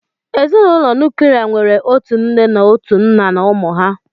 Ezinụlọ nuklia nwere otu nne na otu nna na ụmụ ha